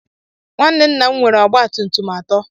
Nwanne nna m nwere ọgba tum tum atọ.